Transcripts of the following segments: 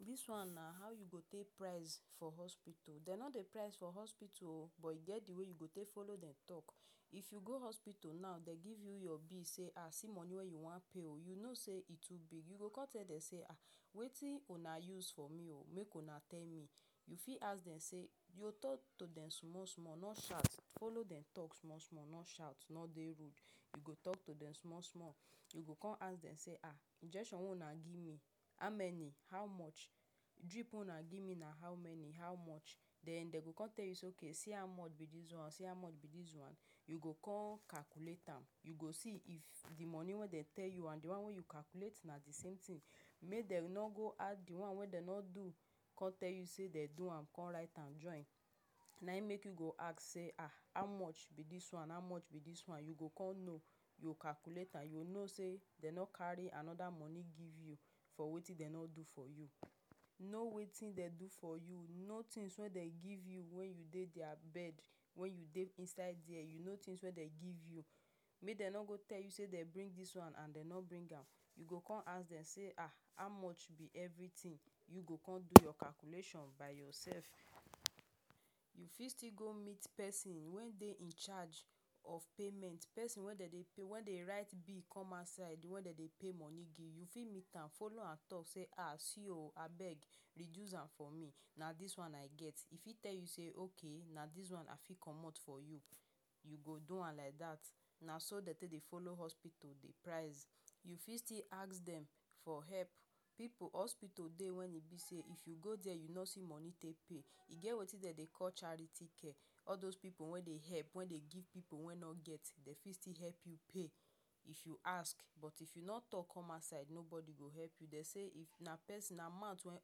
This one na how you go take price for hospital. Dey no dey price for hospital oh, but e get the way you go take follow dem talk. If you go hospital now, dem give you your bill say “um See money wey you wan pay oh,” you no say e too big, you go come tell dem say, “um Wetin una use for me oh, make una tell me.” You fit ask dem. You go talk to dem small small — no shout, follow dem talk small small no shout no dey rude you go talk to dem small small. You go come ask dem say, “um, injection wey una give me — how many? How much?” “Drip wey una give me — na how many? How much?” Then dem go come tell you say, “Okay, see how much be this one, see how much be this one.” You go come calculate am. You go see if the money wey dem tell you and the one you calculate — if na the same thing. Make dem no go add the one wey dem no do, come tell you say dem do am, come write am join. Nayin make you go ask say, “um, how much be this one? How much be this one?” You go come know. You go calculate am. You go know say dem carry another money give you for wetin dem no do for you. Know wetin dem do for you. Know things wey dem give you when you dey their bed, when you dey inside there. Know things wey dem give you — make dem no go tell you say dem bring this one and dem no bring am. You go come ask dem say, “um How much be everything?” You go come do your calculation by yourself. You fit still go meet pesin wey dey in charge of payment — pesin wey dey pay wey write bill come outside — wey dey pay money give. You fit meet am, follow talk say: “um see oh, abeg reduce am for me. Na this one I get.” E fit tell you say, “Okay, na this one I fit comot for you.” You go do am like that. Na so dem take dey follow hospital dey price. You fit ask dem for help. Pipu hospital dey wey be say if you go there you no see money take pay, e get wetin dem dey call charity care — all those pipu wey dey help, wey dey give pipu wey no get — dem still fit help you pay. If you ask. But if you no talk come outside, nobody go help you. Dey say na pesin na mouth wey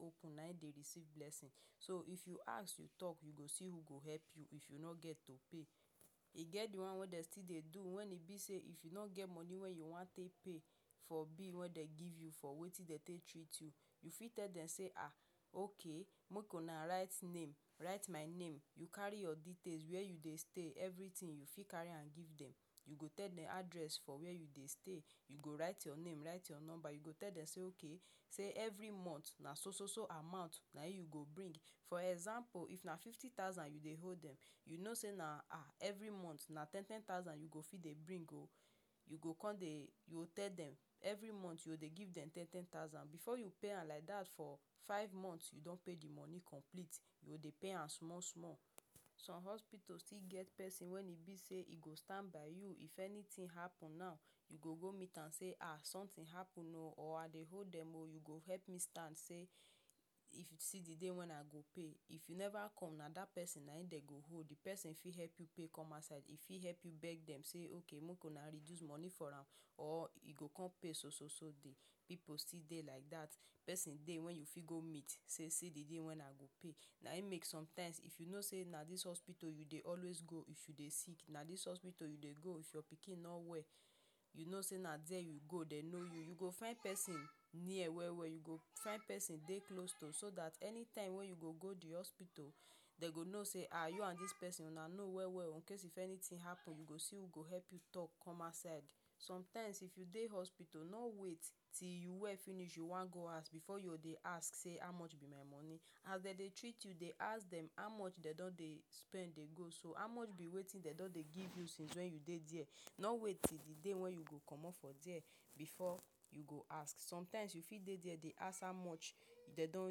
open na him dey receive blessing. So, if you ask, you talk — you go see who go help you if you no get to pay. E get the one wey dem still dey do — when e be say if you no get money wey you wan take pay for bill wey dem give you for wetin dem take treat you — if you tell dem say, “um okay, make una write name write my name,” you carry your details: where you dey stay, everything. You fit carry am give dem. You go tell dem address for where you dey stay. You go write your name. Write your number. You go tell dem say: “Okay, every month na so-so amount na him you go bring.” For example, if na fifty thousand you dey owe dem, you no say: “Every month na ten thousand you go fit dey bring oh.” You go con dey you go tell dem every month you go dey give dem ten ten thousand. Before you pay am like dat for five months, you don pay the money complete. You go dey pay am small small. Some hospital still get pesin when e be say e go stand by you. If anything happen now, you go go meet am say: “um Something happen oh,” or “I dey owe dem oh, you go help me stand. See the day wey I go pay.” If you never come, na that pesin na him dem go hold. The pesin fit help you pay come outside. E fit help you beg dem say: “Okay, make una reduce money for am.” Or e go come pay so-so-so day. Pipu still dey like that. Pesin dey wey you fit go meet say, “See the day wey I go pay.” Nayin make sometimes, if you know say na this hospital you dey always go if you dey sick, na this hospital you dey go if your pikin no well — you know say na there you dey go — dey know you. You go find pesin near well well. You go find pesin dey close to you, so that anytime wey you go the hospital, dem go know say, “um You and this pesin una know well well oh.” In case if anything happen, you go see who go help you talk come outside. Sometimes if you dey hospital, no wait till you well finish you wan go house before you go dey ask: “How much be my money?” As dem dey treat you, dey ask dem how much dem don dey spend. Dey go so: “How much be wetin una don dey give me since I dey here?” No wait till the day wey you go comot before you ask. Sometimes you fit dey there dey ask: “How much una don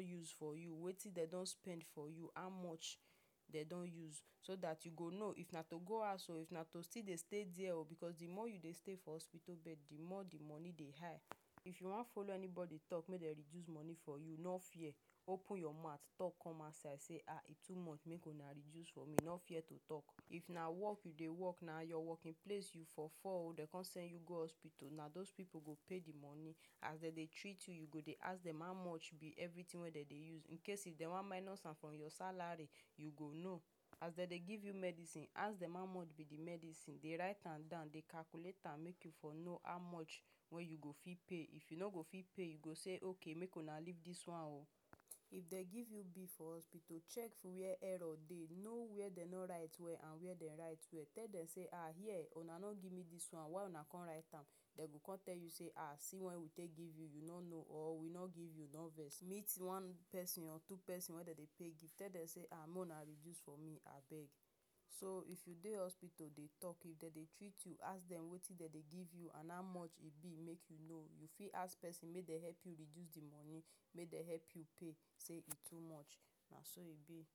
use for me?” “Wetin dem don spend for you?” “How much dem don use?” So that you go know if na to go house oh, or na to still dey stay there oh. Because the more you dey stay for hospital bed, the more the money dey high. If you wan talk make dem reduce money for you — no fear. Open your mouth talk come outside say: “um E too much. Make una reduce for me.” No fear to talk. If na work you dey work, na for your working place you for fall, dem come send you go hospital — na those pipu go pay the money. As dem dey treat you, you go dey ask dem: “How much be everything wey una dey use?” In case dem wan minus am from your salary, you go know. As dem dey give you medicine, ask dem: “How much be the medicine?” Dey write am down. Dey calculate am, make you for know how much wey you go fit pay. If you no go fit pay, you go say: “Okay, make una leave this one oh.” If dem give you bill for hospital, check where error dey. Know where dem no write well and where dem write well. Tell dem say: “um Here una no give me this one. Why una come write am?” Dem go come tell you say, “um see when we take give you,” or “We no give you — no vex.” Meet one pesin or two pipu wey dey dey pay. Tell dem say: “um make una reduce for me abeg.” So if you dey hospital — dey talk. If dem dey treat you, ask dem: “Wetin dem dey give you? How much e be?” Make you know. You fit ask pesin make dem help you reduce the money. Make dem help you pay. Say: “E too much.” Na so e be.